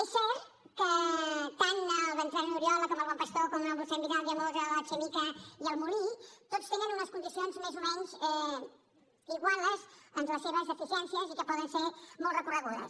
és cert que tant el bertran oriola com el bon pastor com el mossèn vidal i aunós l’alchemika i el molí tots tenen unes condicions més o menys iguals amb les seves deficiències i que poden ser molt recorregudes